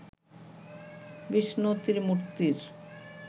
Vishnu ত্রিমূর্তির